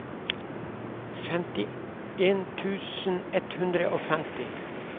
femtien tusen ett hundre og femti